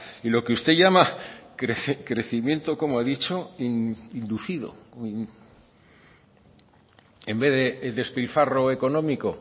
y lo que usted llama crecimiento cómo he dicho inducido en vez de despilfarro económico